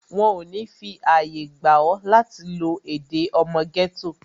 Wọn ò ní fi àyè gba ọ, láti lo èdè ọmọ gẹ́tò